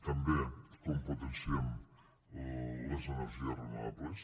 també com potenciem les energies renovables